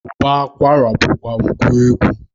Ụbọ akwara bụkwa ngwa egwu.